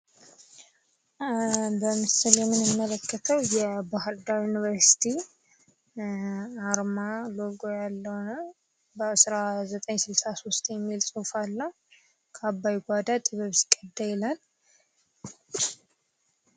በምስሉ የምንመለከተው የባህርዳር ዩኒቨርስቲ አርማ ሎጎ ያለው ነው። በ1963 የሚል ጽሑፍ አለው። ከአባይ ጓዳ ጥበብ ሲቀዳ ይላል።